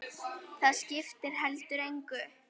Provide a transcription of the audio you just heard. Það skipti heldur engu.